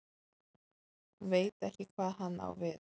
Veit ekki hvað hann á við.